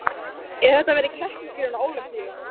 Ef þetta væri keppnisgrein á Ólympíu